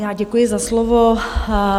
Já děkuji za slovo.